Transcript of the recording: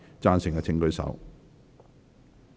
贊成的請舉手。